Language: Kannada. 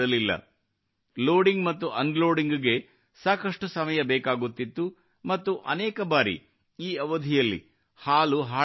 ಲೋಡಿಂಗ್ ಮತ್ತು ಅನ್ಲೋಡಿಂಗ್ ಗೆ ಸಾಕಷ್ಟು ಸಮಯ ಬೇಕಾಗುತ್ತಿತ್ತು ಮತ್ತು ಅನೇಕ ಬಾರಿ ಈ ಅವಧಿಯಲ್ಲಿ ಹಾಲು ಹಾಳಾಗುತ್ತಿತ್ತು